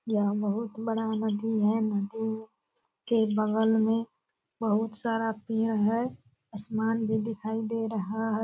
यह बहुत बड़ा नदी है। नदी के बगल में बहुत सारा पेड़ है। आसमान भी दिखाई दे रहा है।